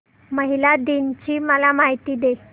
महिला दिन ची मला माहिती दे